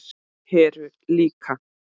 Heru líka.